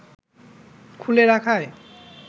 খুলে রাখায়